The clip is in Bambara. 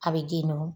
A bɛ den nu